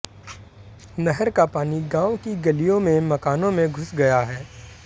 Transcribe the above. नहर का पानी गांव की गलियों में मकानों में घुस गया है